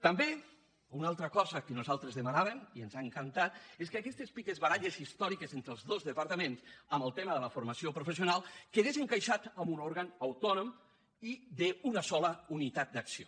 també una altra cosa que nosaltres demanàvem i ens ha encantat és que aquestes picabaralles històriques entre els dos departaments en el tema de la formació professional quedessin encaixades en un òrgan autònom i d’una sola unitat d’acció